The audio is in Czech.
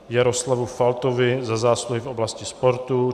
Jaroslavu Faltovi za zásluhy v oblasti sportu